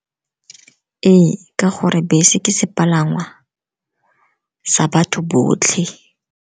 Ee, ka gore bese ke sepalangwa sa batho botlhe.